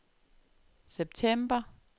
september